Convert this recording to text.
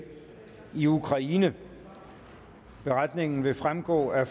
i ukraine beretningen vil fremgå af